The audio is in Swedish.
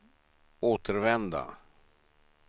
återvända